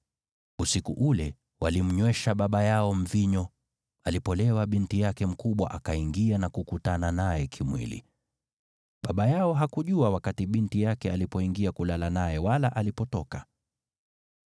Usiku ule walimnywesha baba yao mvinyo, alipolewa binti yake mkubwa akaingia na kukutana naye kimwili. Baba yao hakujua wakati binti yake alipoingia kulala naye wala alipotoka.